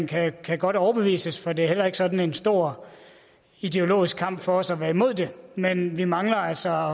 kan godt overbevises for det er heller ikke sådan en stor ideologisk kamp for også at være imod det men vi mangler altså